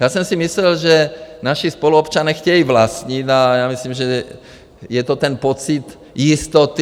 Já jsem si myslel, že naši spoluobčané chtějí vlastnit, a já myslím, že je to ten pocit jistoty.